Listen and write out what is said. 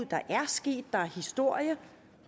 der er sket og historie